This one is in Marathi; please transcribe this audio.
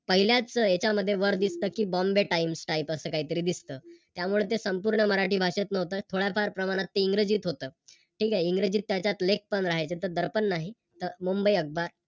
पहिल्याच याच्यामध्ये वर दिसत कि Bombay times type असं काहीतरी दिसत. त्यामुळ ते संपूर्ण मराठी भाषेत नव्हत थोडाफार प्रमाणात ते इंग्रजीत होतं. ठीक आहे इंग्रजीत त्याच्यात लेख पण राहायचे तर दर्पण नाही तर मुंबई अखबार